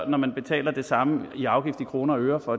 når man betaler det samme i afgift i kroner og øre for